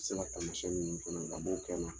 Se ka tamasɛn minnu kɛ ne la a b'o kɛ n na